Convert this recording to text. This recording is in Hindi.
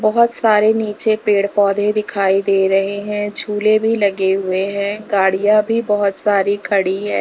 बहोत सारे नीचे पेड़ पौधे दिखाई दे रहे हैं झूले भी लगे हुए हैं गाड़ियां भी बहोत सारी खड़ी है।